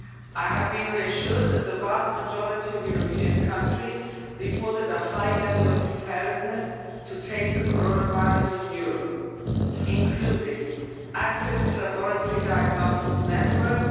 I have been reassured that the vast majority of European countries reported a high level of preparedness to face the coronavirus in Europe, including access to laboratory diagnosis networks